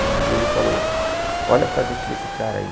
E ele falou, olha para dentro desse cara aí.